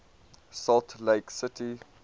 salt lake city